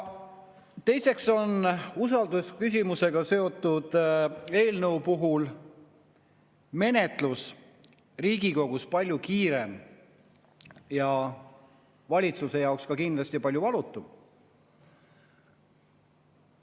Teiseks on usaldusküsimusega seotud eelnõu puhul menetlus Riigikogus palju kiirem ja valitsuse jaoks kindlasti palju valutum.